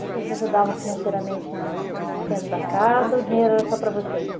Vocês ajudavam financeiramente na no sustento da casa ou o dinheiro era só para vocês?